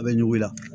A bɛ ɲugu la